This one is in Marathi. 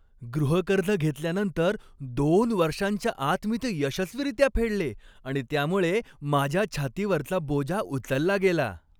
गृहकर्ज घेतल्यानंतर दोन वर्षांच्या आत मी ते यशस्वीरित्या फेडले आणि त्यामुळे माझ्या छातीवरचा बोजा उचलला गेला.